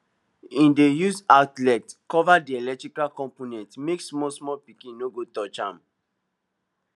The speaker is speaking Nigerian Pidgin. he dey use outlet cover di eletrical component make small small pikin no go touch m